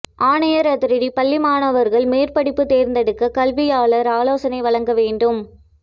ஆணையர் அதிரடி பள்ளி மாணவர்கள் மேற்படிப்பு தேர்ந்தெடுக்க கல்வியாளர்கள் ஆலோசனை வழங்க வேண்டும்